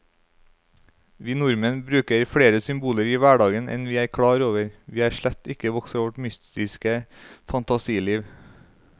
Vi nordmenn bruker flere symboler i hverdagen enn vi er klar over, vi er slett ikke vokst fra vårt mytiske fantasiliv.